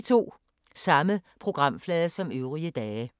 Samme programflade som øvrige dage